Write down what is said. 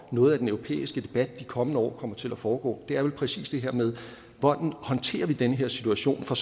noget af den europæiske debat de kommende år kommer til at foregå det er vel præcis det her med hvordan vi håndterer den her situation for